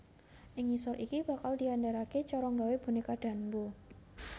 Ing ngisor iki bakal diandharake cara nggawé boneka Danbo